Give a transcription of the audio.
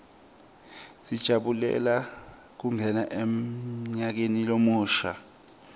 sijabulela kungena emnyakeni lomusha